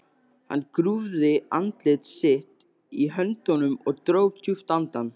Hann grúfði andlit sitt í höndunum og dró djúpt andann.